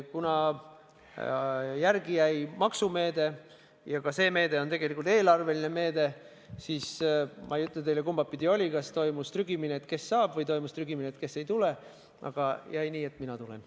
Kuna järele jäi maksumeede ja see meede on tegelikult eelarveline meede, siis ma ei ütle teile, kumba pidi oli, kas toimus trügimine, kes saab pulti, või toimus trügimine, kes siia ei tule, aga jäi nii, et mina tulen.